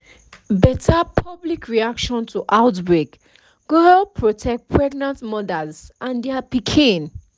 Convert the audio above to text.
better public reaction to outbreak go help protect pregnant mothers and their pikin